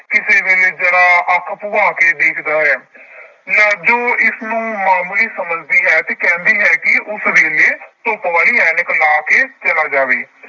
ਕਿਸੇ ਵੇਲੇ ਜ਼ਰਾ ਅੱਖ ਭੁਆ ਕੇ ਦੇਖਦਾ ਹੈ ਲਾਜੋ ਇਸਨੂੰ ਮਾਮੂਲੀ ਸਮਝਦੀ ਹੈ ਤੇ ਕਹਿੰਦੀ ਹੈ ਕਿ ਉਸ ਵੇਲੇ ਧੁੱਪ ਵਾਲੀ ਐਨਕ ਲਾ ਕੇ ਚਲਾ ਜਾਵੇ।